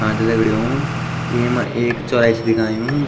हाँ ता दगडियों येमा एक चौराहे सी दिखनयु ।